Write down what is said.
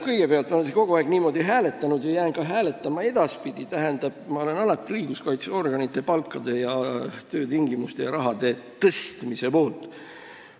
Kõigepealt, ma olen kogu aeg hääletanud ja jään ka edaspidi hääletama õiguskaitseorganite palkade tõstmise ja töötingimuste parandamise poolt.